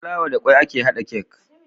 Da fulawa da kwai ake hada cake